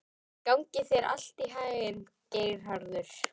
Gangi þér allt í haginn, Geirharður.